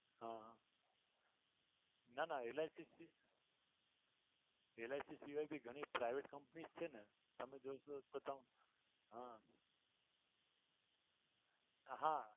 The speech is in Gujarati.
હા ના ના LICLIC સિવાય ભી ઘણી private company છે ને તમે જોશો તો તમે હા હા